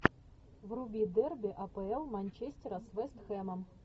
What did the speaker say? вруби дерби апл манчестера с вест хэмом